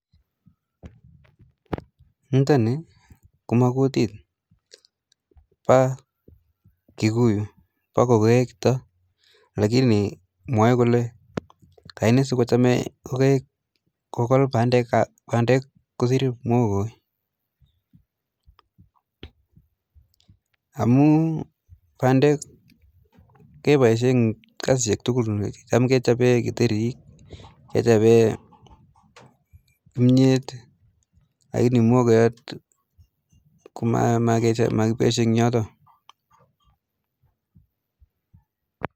Nitoni komabo kkutit bo kokoek chutok. lakini mwae kole aine sikochamei kokoek kokol pandek kosir mwoko. Amu pandek keboishe eng kasisiek tugul. Cham kechobe kitherik, kechobe kimyet. Lakini mwokoyat ko makiboishe eng yotak.